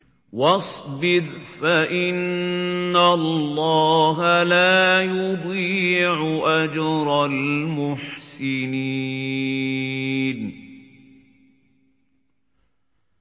وَاصْبِرْ فَإِنَّ اللَّهَ لَا يُضِيعُ أَجْرَ الْمُحْسِنِينَ